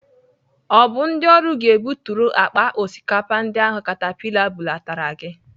Ọ bụ ndị ọrụ ga-ebuturu akpa osikapa ndị ahụ katapila bulatara gị?